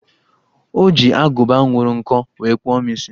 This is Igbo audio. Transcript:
O ji agụba nyụrụ nkọ wee kpụọ m isi